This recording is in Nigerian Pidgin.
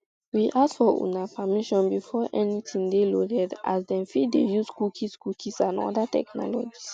we ask for una um permission before anytin dey loaded as dem fit dey use cookies cookies and oda technologies